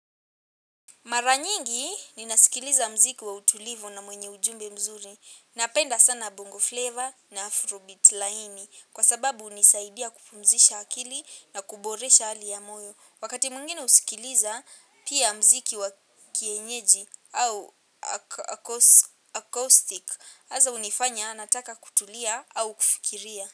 Mara nyingi ninasikiliza muziki wa utulivou na mwenye ujumbe mzuri. Napenda sana bongo flavor na afrobeat laini. Kwa sababu hunisaidia kupumzisha akili na kuboresha hali ya moyo. Wakati mwingine husikiliza pia muziki wa kienyeji au acoustic hasa hunifanya nataka kutulia au kufikiria.